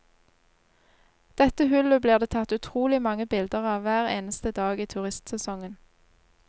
Dette hullet blir det tatt utrolig mange bilder av hver eneste dag i turistsesongen.